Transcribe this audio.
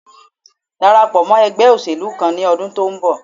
Darapọ̀ mọ́ ẹgbé òṣèlú kan ní ọdún tó ń bọ̀